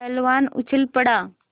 पहलवान उछल पड़ा